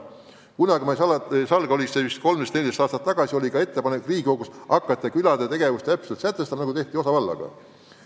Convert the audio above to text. Samas ma ei salga, et vist 13–14 aastat tagasi oli ettepanek hakata Riigikogus külade tegevust sätestama, nagu tehti osavallaga.